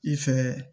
I fɛ